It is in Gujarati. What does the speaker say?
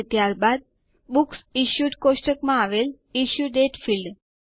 અને ત્યારબાદ બુકસિશ્યુડ ટેબલ માં આવેલ ઇશ્યુ દાતે ફીલ્ડ